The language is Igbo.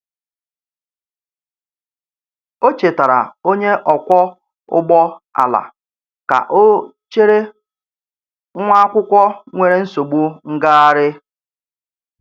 O chetaara onye ọkwọ ụgbọ ala ka ọ chere nwa akwụkwọ nwere nsogbu ngagharị.